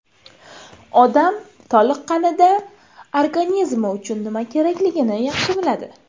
Odam toliqqanida organizmi uchun nima kerakligini yaxshi biladi.